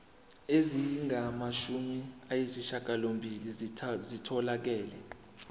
ezingamashumi ayishiyagalolunye zitholakele